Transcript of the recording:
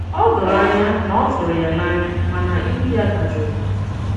Ó doro anya na ọ tụrụ ya n’ànya, mana ihu ya dàjụrụ.